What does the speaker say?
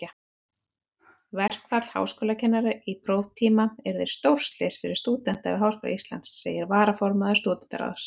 Verkfall háskólakennara á próftíma yrði stórslys fyrir stúdenta við Háskóla Íslands, segir varaformaður Stúdentaráðs.